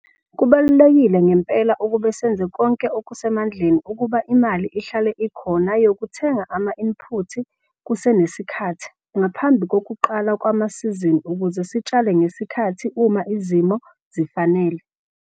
Kubaluleke ngempela ukuba senze konke okusemandleni ukuba imali ihlale ikhona yokuthenga ama-input kusenesikhathi ngaphambi kokuqala kwamasizini ukuze sitshale ngesikhathi uma izimo zifanele.